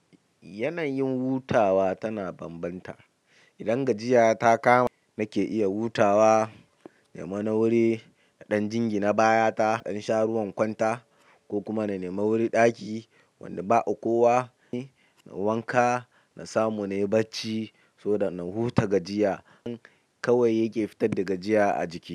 Yanayin wutawa tana bambanta idan gajiya ta kama nake iya hutawa, nema na wuri, naɗa jingina baya ta, in sha ruwa in kwanta ko kuma na nema wuri ɗaki wanda ba kowa, na wanka, na samu na yi bacci, saboda na huta gajiya. Kawai yake fitar da gajiya a jiki.